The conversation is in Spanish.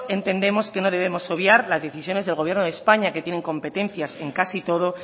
entendemos que no debemos obviar las decisiones del gobierno de españa que tienen competencias en casi todo